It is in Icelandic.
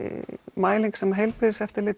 mæling sem Heilbrigðiseftirlitið